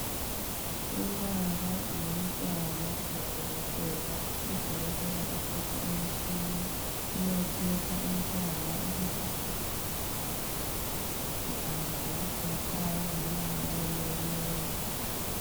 Ubaba lomntwana lodokotela, udokotela uphethe umtshini uyatshekha umntwana ukuthi indlebe zakhe ziyezwa kahle akazweli khatshana loba lama emenyezwa.